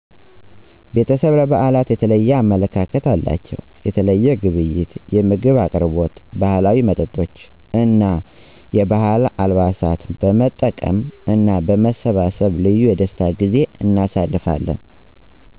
ቤተሰቤ ለብዓላት የተለየ አመለካከት አላቸው። የተለየ ግብይት፣ የምግብ አቅርቦት፣ ባህላዊ መጠጦች እና የባህል አልባሳትን በመጠቀም እና በመሰባሰብ ልዩ የደስታ ጊዜ እናሳልፋለን።